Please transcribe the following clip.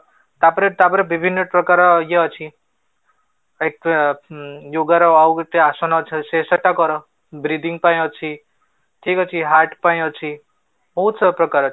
ତାପରେ ତାପରେ ବିଭିନ୍ନ ପ୍ରକାର ଇଏ ଅଛି, like ଅ yoga ର ଆଉ କେତେ ଆସନ ଅଛି ସେଟା କର, breathing ପାଇଁ ଅଛି ଠିକ ଅଛି ହାର୍ଟ ପାଇଁ ଅଛି ବହୁତ ସବୁ ପ୍ରକାର ଅଛି